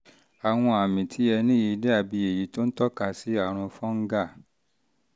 àwọn àmì tí ẹ ní yìí dàbí èyí tó ń tọ́ka sí àrùn fungal